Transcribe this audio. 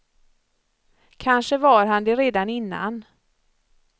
Kanske var han det redan innan.